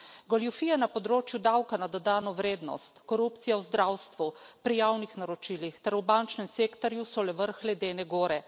Goljufije na področju davka na dodano vrednost, korupcija v zdravstvu, pri javnih naročilih ter v bančnem sektorju so le vrh ledene gore.